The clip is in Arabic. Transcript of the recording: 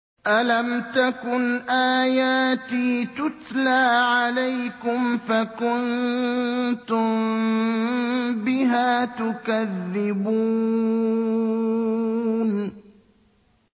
أَلَمْ تَكُنْ آيَاتِي تُتْلَىٰ عَلَيْكُمْ فَكُنتُم بِهَا تُكَذِّبُونَ